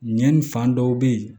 Ɲɛni fan dɔw be ye